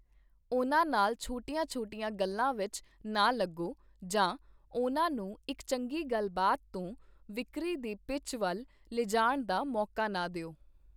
ਉਨ੍ਹਾਂ ਨਾਲ ਛੋਟੀਆਂ-ਛੋਟੀਆਂ ਗੱਲਾਂ ਵਿਚ ਨਾ ਲੱਗੋ ਜਾਂ ਉਨ੍ਹਾਂ ਨੂੰ ਇਕ ਚੰਗੀ ਗੱਲਬਾਤ ਤੋਂ ਵਿਕਰੀ ਦੀ ਪਿੱਚ ਵੱਲ ਲਿਜਾਣ ਦਾ ਮੌਕਾ ਨਾ ਦਿਓ ।